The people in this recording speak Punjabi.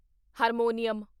ਹਾਰਮੋਨੀਅਮ